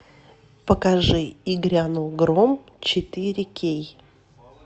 покажи и грянул гром четыре кей